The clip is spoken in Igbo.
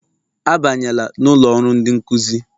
Abanyela n'ụlọ ọrụ ndị nkụzi!